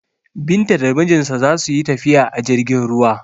Binta da mijinta za su yi tafiya a jirgin ruwa.